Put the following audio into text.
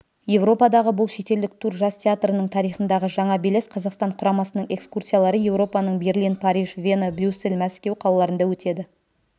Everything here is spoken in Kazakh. еуропадағы бұл шетелдік тур жас театрының тарихындағы жаңа белес қазақстан құрамасының экскурсиялары еуропаның берлин париж вена брюссель мәскеу қалаларында өтеді